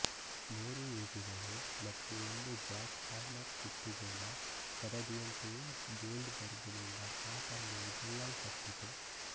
ಮೂರು ಈಟಿಗಳು ಮತ್ತು ಒಂದು ಜ್ಯಾಕ್ ಹ್ಯಾಮರ್ ಸುತ್ತಿಗೆ ನ ಸರದಿಯಂತೆಯೇ ಗೋಲ್ಡ್ ಬರ್ಗ್ ನಿಂದ ಆ ಪಂದ್ಯವು ಗೆಲ್ಲಲ್ಪಟ್ಟಿತು